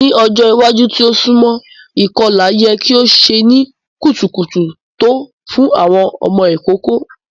Ni ọjọ iwaju ti o sunmọ, ikọla yẹ ki o ṣe ni kutukutu to fun awọn ọmọ ikoko.